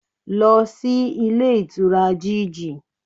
Lọ sí Ilé Ìtura GG